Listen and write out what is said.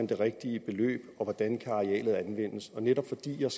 det rigtige beløb og hvordan arealet kan anvendes og netop fordi jeg